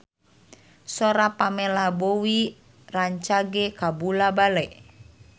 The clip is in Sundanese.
Sora Pamela Bowie rancage kabula-bale